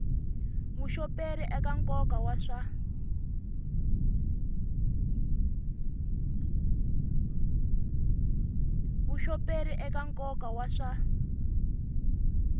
vuxoperi eka nkoka wa swa